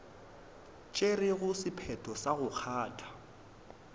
tšerego sephetho sa go kgatha